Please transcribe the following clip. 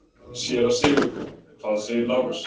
SÉRA SIGURÐUR: Hvað segir Lárus?